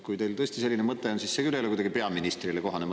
Kui teil tõesti selline mõte on, siis see küll ei ole kuidagi peaministrile kohane.